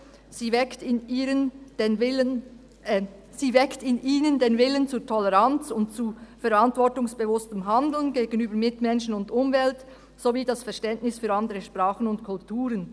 «Sie weckt in ihnen den Willen zur Toleranz und zu verantwortungsbewusstem Handeln gegenüber Mitmenschen und Umwelt sowie das Verständnis für andere Sprachen und Kulturen.